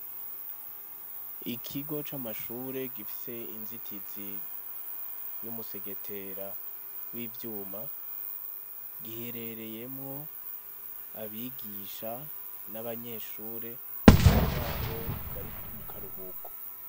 Ikigo c'amashure gifise inzitizi y'umusegetera w'ivyuma giherereyemwo abigisha n'abanyeshure bisa nk'aho bari mu karuhuko.